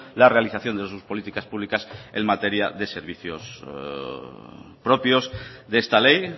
la realización de sus políticas públicas en materia de servicios propios de esta ley